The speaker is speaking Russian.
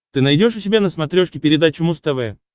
ты найдешь у себя на смотрешке передачу муз тв